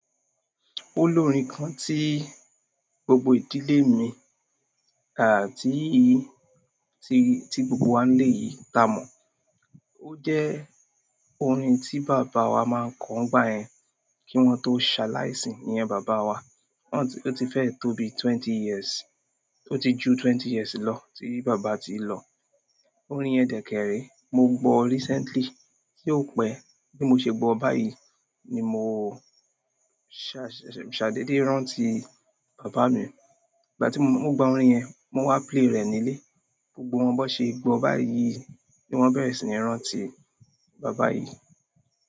Ó lorin kan tí gbogbo ìdílé mi àti tí, tí, tí gbogbo wa nileyii tamọ. O je orin ti baba wa maa n ko nigbayen ki won to saliasi. Ìyen bàbá wa, ó ti fẹ́ tó bi twenty years, ó ti ju twenty years lọ tí bàbá ti lọ. Orin yẹn dẹkẹrẹ, mo gbọ recently, tí ó pẹ́ tí mo ṣe gbọ báyìí ni mo ṣa, ṣa, ṣadédé rántí bàbá mi. Ìgbà tí mo gba orin yẹn, mo wá play rẹ̀ nílé, gbogbo wọn bó ṣe gbọ báyìí ni wọ́n bẹ́ẹ̀ sì ní rántí bàbá yìí.